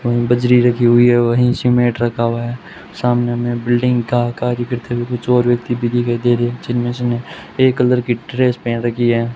वहीं बजरी रखी हुई है वहीं सीमेट रखा हुआ है सामने में बिल्डिंग का कार्यकर्ता भी कुछ और व्यक्ति भी दिखाइ दे रहे हैं जिनमें से ने ये कलर की ड्रेस पहन रखी है।